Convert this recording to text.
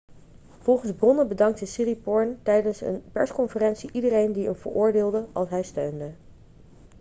volgens bronnen bedankte siriporn tijdens een persconferentie iedereen die een veroordeelde' als hij steunde